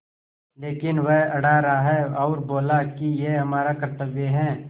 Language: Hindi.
लेकिन वह अड़ा रहा और बोला कि यह हमारा कर्त्तव्य है